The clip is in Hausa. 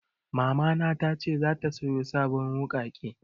Mama na ta ce zata saya sabon wuƙaƙe